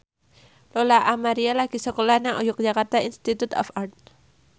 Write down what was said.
Lola Amaria lagi sekolah nang Yogyakarta Institute of Art